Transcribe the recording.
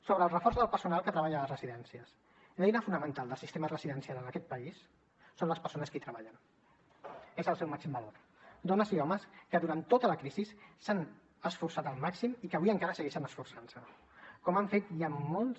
sobre el reforç del personal que treballa a les residències l’eina fonamental dels sistema residencial en aquest país són les persones que hi treballen és el seu màxim valor dones i homes que durant tota la crisi s’han esforçat al màxim i que avui encara segueixen esforçant se com han fet ja en molts